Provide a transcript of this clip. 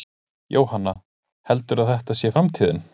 Jóhann: Heldurðu að þetta sé framtíðin?